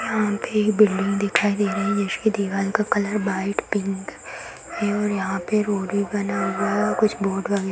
यहाँ भी बिल्डिंग दिखाई दे रही है जिसकी दीवाल का कलर वाइट पिंक है और यहाँ पे रोड भी बना हुआ है और कुछ बोर्ड वगेरा --